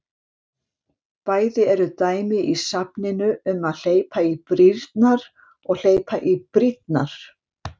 Bæði eru dæmi í safninu um að hleypa í brýrnar og hleypa í brýnnar.